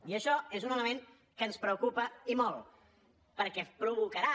i això és un element que ens preocupa i molt perquè provocarà